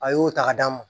A y'o ta ka d'a ma